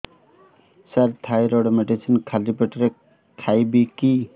ସାର thyroid medicine ଖାଲି ପେଟରେ ଖାଇବି କି